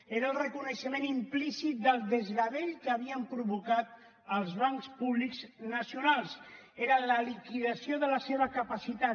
era el reconeixement implícit del desgavell que havien provocat els bancs públics nacionals era la liquidació de la seva capacitat